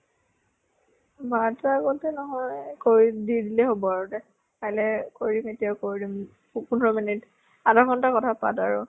বাৰতা আগতে নহয় । কৰি দি দিলে হʼব আৰু দেহ । কালৈ কৰিবি আৰু এতিয়াও কৰি দিম । পোন্ধৰ minute আধা ঘন্টা কথা পাত আৰু ।